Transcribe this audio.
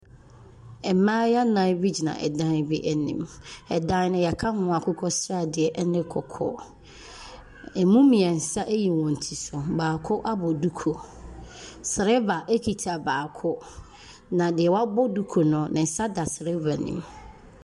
Mmaayewa nnan bi gyina dan bi anim. Dan no wɔaka ho akokɔsradeɛ ne kɔkɔɔ. Ɛmu mmeɛnsa ayi wɔn ti so. Baako abɔ duku. Sereba kita baako, na deɛ wabɔ duku no, ne nsa da sereba no mu.